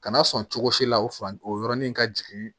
Kana sɔn cogo si la o fan o yɔrɔnin ka jigin